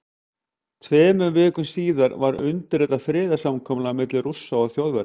Tveimur vikum síðar var undirritað friðarsamkomulag milli Rússa og Þjóðverja.